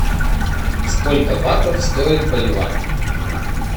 сколько батов стоит боливар